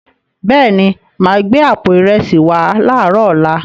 Bẹ́ẹ̀ni, ma gbẹ̀ àpò ìrẹsí wà láàrọ ọla.